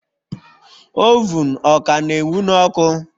Ovun Ọ ka na ewun ọkụ?